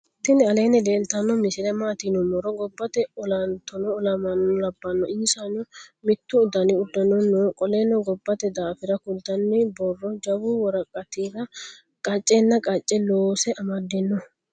tini aleni leltano misile matti yinumoro. gobate olantano olamano labano. isano mittu danni udunni noo. qoleno gobate dafira kuultani borro jawu woraqatira qacenna qace loose amadano